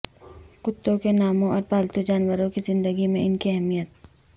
کتوں کے ناموں اور پالتو جانوروں کی زندگی میں ان کی اہمیت